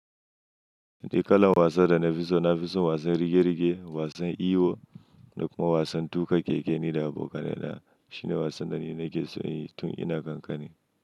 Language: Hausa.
Ni kalan wasan da na fi so, na fi son wasan rige-rige, wasan iyo da kuma wasan tuƙa keke ni da abokana. Na, shi ne wasan da ni nake so yin tun ina ƙanƙani.